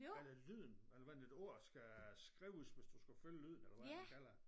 Eller lyden eller hvordan et ord skal skrives hvis du skal følge lyden eller hvordan man kalder